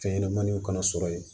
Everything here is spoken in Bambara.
Fɛn ɲɛnɛmaniw kana sɔrɔ yen